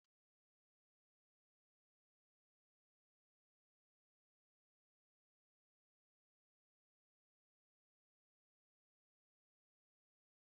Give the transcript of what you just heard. N'oge a na-eme njem nlegharị anya ezinụlọ, nwanne m nwoke nke ukwu kọrọ otu akụkọ okpukpe na-enweghị atụ sitere n'ọmenala anyị.